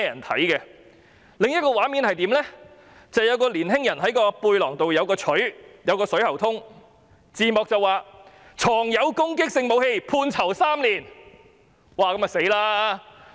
短片的另一個畫面是一名青年人，背包內有鎚子和水喉通，字幕寫上"藏有攻擊性武器最高判刑3年"。